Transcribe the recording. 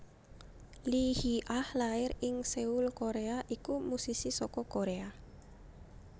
Lee Hee Ah lair ing Seoul Koréa iku musisi saka Koréa